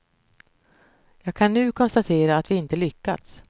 Jag kan nu konstatera att vi inte lyckats.